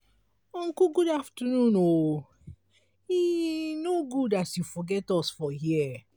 uncle good afternoon o e e no good as you forget us for here.